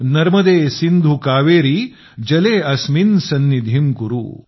नर्मदे सिंधू कावेरी जले अस्मिन् सन्निधिं कुरु